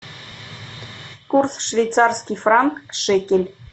курс швейцарский франк шекель